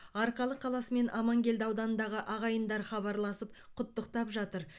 арқалық қаласы мен амангелді ауданындағы ағайындар хабарласып құттықтап жатыр